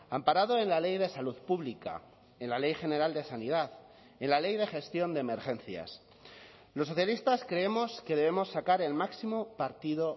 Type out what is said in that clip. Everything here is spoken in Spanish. amparado en la ley de salud pública en la ley general de sanidad en la ley de gestión de emergencias los socialistas creemos que debemos sacar el máximo partido